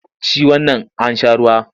Ci wannan an sha ruwa!